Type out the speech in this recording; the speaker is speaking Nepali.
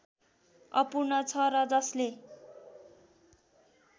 अपूर्ण छ र जसले